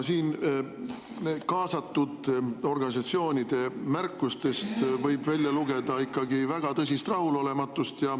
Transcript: No siin kaasatud organisatsioonide märkustest võib välja lugeda ikkagi väga tõsist rahulolematust.